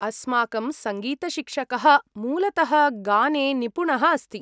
अस्माकं सङ्गीतशिक्षकः मूलतः गाने निपुणः अस्ति।